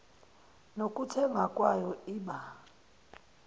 nokuthengwa kwayo iba